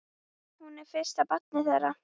Hún er fyrsta barn þeirra.